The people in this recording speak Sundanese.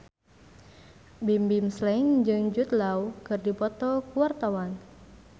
Bimbim Slank jeung Jude Law keur dipoto ku wartawan